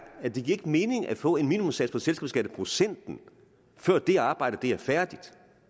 at det ikke giver mening at få en minimumssats på selskabsskatteprocenten før det arbejde er færdigt